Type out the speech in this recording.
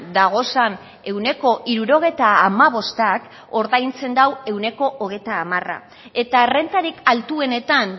dagozan ehuneko hirurogeita hamabostak ordaintzen du ehuneko hogeita hamara eta errentarik altuenetan